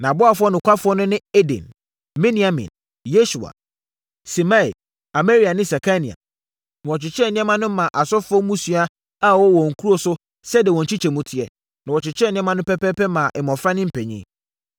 Nʼaboafoɔ nokwafoɔ no ne Eden, Miniamin, Yesua, Semaia, Amaria ne Sekania. Na wɔkyekyɛɛ nneɛma no maa asɔfoɔ mmusua a wɔwɔ wɔn nkuro so sɛdeɛ wɔn nkyekyɛmu teɛ, na wɔkyɛɛ nneɛma no pɛpɛɛpɛ maa mmɔfra ne mpanin.